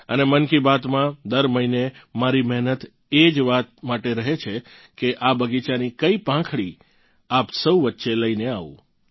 અને મન કી બાત માં દર મહિને મારી મહેનત એ જ વાત માટે રહે છે કે આ બગીચાની કઇ પાંખડી આપ સૌ વચ્ચે લઇને આવું